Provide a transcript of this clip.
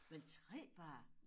Men 3 børn